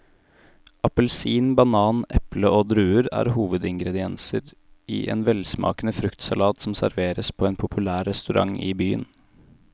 Appelsin, banan, eple og druer er hovedingredienser i en velsmakende fruktsalat som serveres på en populær restaurant i byen.